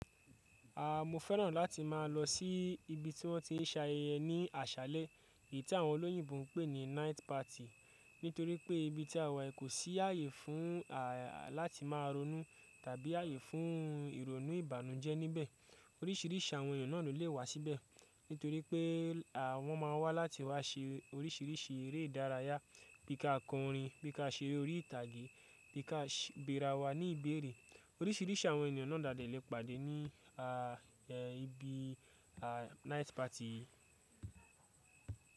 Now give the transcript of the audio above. A, mo fẹ́ràn láti má a lọ sí ibi tí wọ́n ti ń sayeyẹ ní àṣálẹ́, èyí tí àwọn olóyìnbo ń pè ní night party. Nítorí pé ibi tí a wà kò sí ààyè fún, à, láti máa ronú tàbí ààyè fún ìrònú ìbànújẹ́ níbẹ̀. Orísìírísìí àwọn ènìyàn náà ló le wá síbẹ̀, nítorí pé àwọn má a wá láti wá ṣe orísìírísìí eré ìdárayá, bí ka kọ orin, bí ka ṣeré orí ìtàgé, bí ka béra wa ní ìbéèrè. Orísìírísìí àwọn ènìyàn náà laàdẹ́ lè pàdé ní, a, ibi, a, night party yìí.